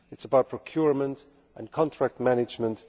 it is about procurement and contract management